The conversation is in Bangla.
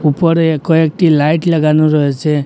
উপরে কয়েকটি লাইট লাগানো রয়েছে।